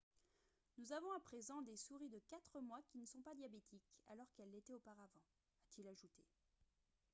« nous avons à présent des souris de 4 mois qui ne sont pas diabétiques alors qu'elles l'étaient auparavant » a-t-il ajouté